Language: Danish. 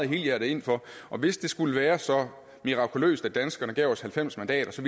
helhjertet ind for og hvis det skulle være så mirakuløst at danskerne gav os halvfems mandater